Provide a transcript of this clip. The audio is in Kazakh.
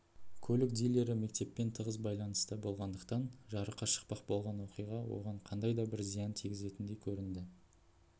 көлік дилері мектеппен тығыз байланыста болғандықтан жарыққа шықпақ болған оқиға оған қандай да бір зиян тигізетіндей көрінді